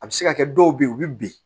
A bɛ se ka kɛ dɔw bɛ ye u bɛ bin